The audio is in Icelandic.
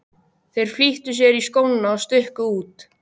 Þeir flýttu sér í skóna og stukku út.